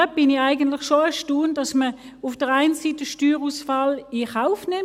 Es erstaunt mich schon, dass man auf der einen Seite Steuerausfall in Kauf nimmt.